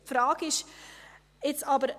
Die Frage ist jetzt aber: